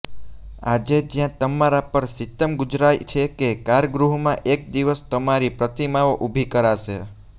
આજે જ્યાં તમારા પર સિતમ ગુજારાય છે એ કારાગૃહમાં એક દિવસ તમારી પ્રતિમાઓ ઊભી કરાશે